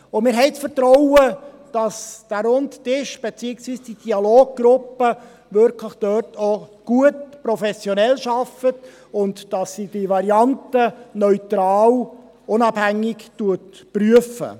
Wir haben das Vertrauen, dass der Runde Tisch, beziehungsweise die Dialoggruppe, wirklich gut und professionell arbeitet und dass sie die Varianten neutral und unabhängig prüft.